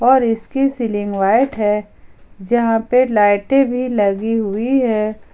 और इसकी ceiling white है जहां पे लाइटे भी लगी हुई है।